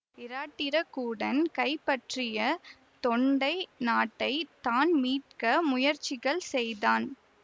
இராட்டிர கூடன் கைப்பற்றிய தொண்டை நாட்டை தான் மீட்க முயற்சிகள் செய்தான்